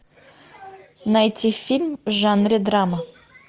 найти фильм в жанре драма